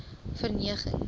verneging